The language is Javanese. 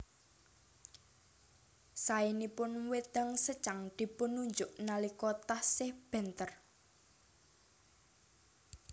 Saénipun wédang secang dipun unjuk nalika taksih bentèr